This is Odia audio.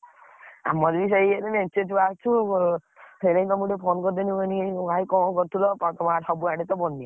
ଆମର ବି ସେଇ ମେଞ୍ଚେ ଛୁଆ ଅଛୁ। ସେଇନାଗି ତମକୁ ଟିକେ phone କରିଦେଲି, ମୁଁ କହିଲି ଭାଇ କଣ କରୁଥିଲ ସବୁଆଡେ ତ ବନ୍ୟା।